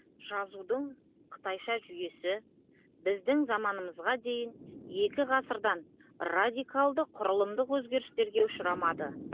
жазудың қытайша жүйесі біздің заманымызға дейін екі ғасырдан радикалды құрылымдық өзгерістерге ұшырамады